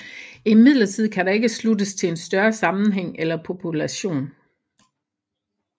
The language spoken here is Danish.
Imidlertid kan der ikke sluttes til en større sammenhæng eller population